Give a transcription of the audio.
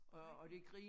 Skrækkeligt